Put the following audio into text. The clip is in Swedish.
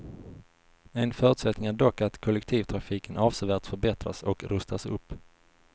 En förutsättning är dock att kollektivtrafiken avsevärt förbättras och rustas upp.